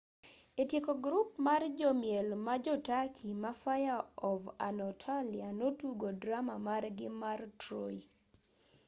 e tieko grup mar jomiel ma jo-turkey ma fire of anatolia notugo drama margi mar troy